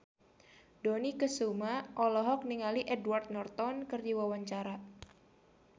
Dony Kesuma olohok ningali Edward Norton keur diwawancara